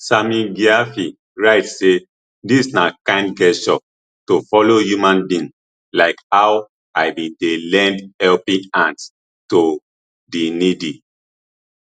sammy gyamfi write say dis na kind gesture to fellow human being like how i bin dey lend helping hand to di needy